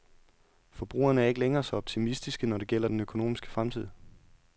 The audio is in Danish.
Forbrugerne er ikke længere så optimistiske, når det gælder den økonomiske fremtid.